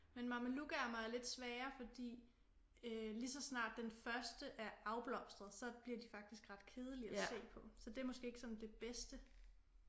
Men mamelukærmer er lidt svære fordi øh lige så snart den første er afblomstret så bliver de faktisk ret kedelige og se på så det er måske ikke sådan det bedste